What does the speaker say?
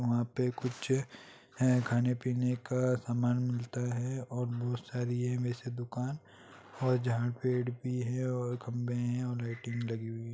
वहाँ पे कुछ है खाने-पीने का सामान मिलता है और बोहत सारी है वैसे दुकान और जहाँ पेड़ भी है और खंभे है और लाइटिंग भी लगी हुई है।